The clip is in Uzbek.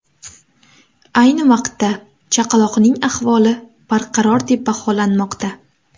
Ayni vaqtda chaqaloqning ahvoli barqaror deb baholanmoqda.